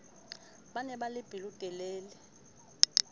ba ne ba le pelotelele